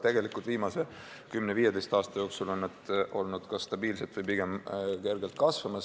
Tegelikult viimase kümne-viieteist aasta jooksul on nad kas olnud stabiilsed või pigem kergelt kasvanud.